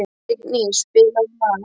Signý, spilaðu lag.